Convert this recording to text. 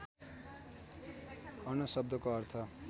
अण शब्दको अर्थ